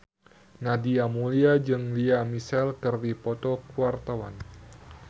Nadia Mulya jeung Lea Michele keur dipoto ku wartawan